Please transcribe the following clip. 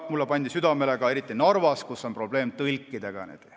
Mulle pandi see südamele ka Narvas, kus on probleem tõlkidega.